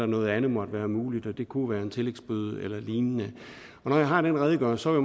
noget andet måtte være muligt og det kunne være en tillægsbøde eller lignende og når jeg har den redegørelse vil